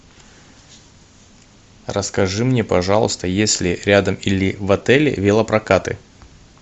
расскажи мне пожалуйста есть ли рядом или в отеле велопрокаты